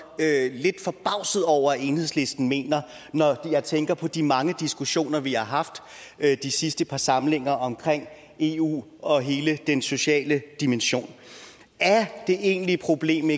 lidt forbavset over at enhedslisten mener når jeg tænker på de mange diskussioner vi har haft de sidste par samlinger om eu og hele den sociale dimension er det egentlige problem